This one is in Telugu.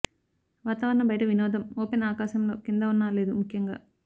వాతావరణ బయట వినోదం ఓపెన్ ఆకాశంలో కింద ఉన్న లేదు ముఖ్యంగా